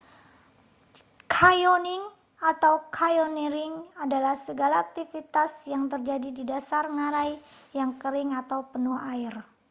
canyoning atau: canyoneering adalah segala aktivitas yang terjadi di dasar ngarai yang kering atau penuh air